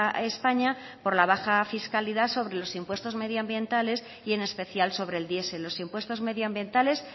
a españa por la baja fiscalidad sobre los impuestos medioambientales y en especial sobre el diesel los impuestos medioambientales